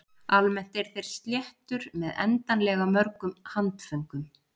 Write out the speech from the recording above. Almennt eru þeir sléttur með endanlega mörgum handföngum.